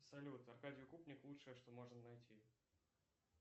салют аркадий укупник лучшее что можно найти